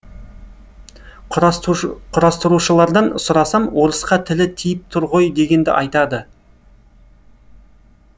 құрастырушылардан сұрасам орысқа тілі тиіп тұр ғой дегенді айтады